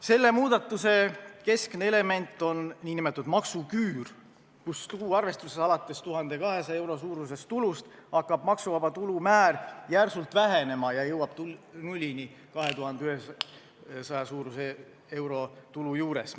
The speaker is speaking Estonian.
Selle muudatuse keskne element on nn maksuküür, kus tuluarvestuses alates 1200 euro suurusest tulust hakkab maksuvaba tulu määr järsult vähenema ja jõuab nullini 2100 euro suuruse tulu juures.